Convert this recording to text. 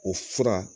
O fura